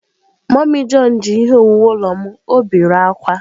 Mummy john ji ihe owuwu ulo m, o bere akwa.